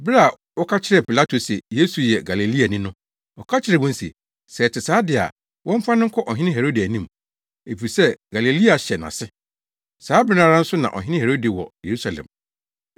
Bere a wɔka kyerɛɛ Pilato se Yesu yɛ Galileani no, ɔka kyerɛɛ wɔn se, sɛ ɛte saa de a, wɔmfa no nkɔ Ɔhene Herode anim, efisɛ Galilea hyɛ nʼase. Saa bere no ara nso na Ɔhene Herode wɔ Yerusalem.